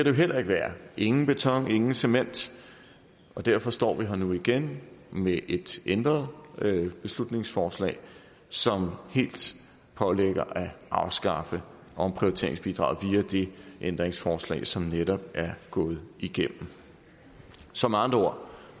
jo heller ikke være ingen beton ingen cement og derfor står vi her nu igen med et ændret beslutningsforslag som helt pålægger at afskaffe omprioriteringsbidraget via det ændringsforslag som netop er gået igennem så med andre ord